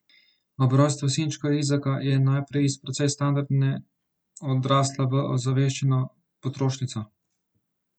Ob rojstvu sinčka Izaka je najprej iz precej standardne odrasla v ozaveščeno potrošnico.